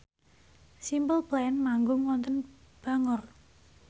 Simple Plan manggung wonten Bangor